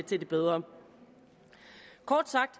til det bedre kort sagt